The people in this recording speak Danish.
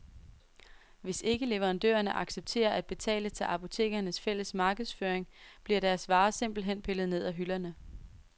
Hvis ikke leverandørerne accepterer at betale til apotekernes fælles markedsføring, bliver deres varer simpelt hen pillet ned af hylderne.